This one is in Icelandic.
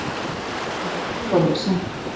Ekki ferð þú á hausinn.